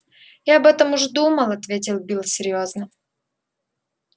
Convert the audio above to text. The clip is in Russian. я об этом уж думал ответил билл серьёзно